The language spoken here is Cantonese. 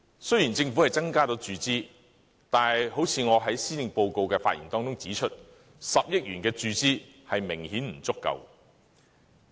雖然政府增加了注資，但正如我在施政報告的發言中指出 ，10 億元的數額明顯不足夠。